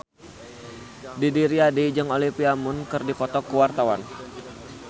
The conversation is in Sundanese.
Didi Riyadi jeung Olivia Munn keur dipoto ku wartawan